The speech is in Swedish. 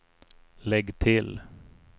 lägg till